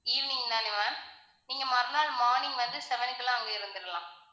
evening தானே ma'am நீங்க மறுநாள் morning வந்து seven க்குலாம் அங்க இருந்துறலாம்